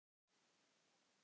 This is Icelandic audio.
Það var gott